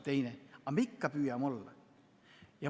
Aga me ikka püüame olla.